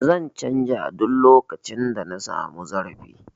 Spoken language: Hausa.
Zan canja duk lokacin da na sami zarafi